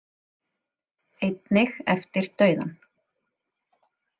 Einnig eftir dauðann.